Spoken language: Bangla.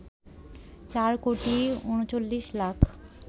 ৪ কোটি ৩৯ লাখ